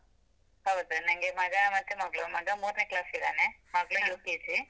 ಹೌದಾ, ನಂಗೆ ಮಗ ಮತ್ತೆ ಮಗ್ಳು, ಮಗ ಮೂರ್ನೇ class ಇದ್ದಾನೆ, ಮಗ್ಳು UKG.